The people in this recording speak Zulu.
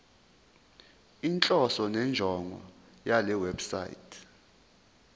inhloso nenjongo yalewebsite